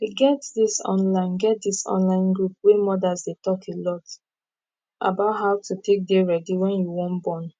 e get this online get this online group wey modas dey talk alot about how to take dey ready wen you wan born